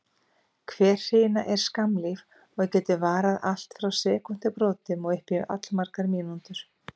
Hver hrina er skammlíf og getur varað allt frá sekúndubrotum og upp í allmargar mínútur.